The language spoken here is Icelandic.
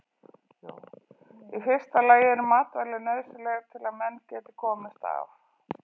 Í fyrsta lagi eru matvæli nauðsynleg til að menn geti komist af.